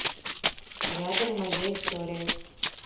рядом моя история